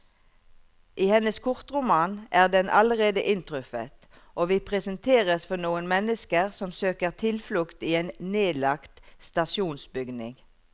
I hennes kortroman er den allerede inntruffet, og vi presenteres for noen mennesker som søker tilflukt i en nedlagt stasjonsbygning.